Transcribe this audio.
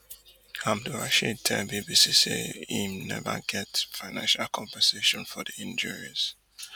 abdulrasheed tell bbc say hin neva get financial compensation for di injuries